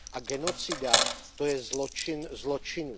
A genocida, to je zločin zločinů.